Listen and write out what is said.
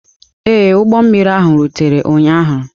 Ee, ụgbọ mmiri ahụ rutere ụnyaahụ.